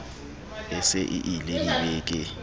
e se e ie dibeke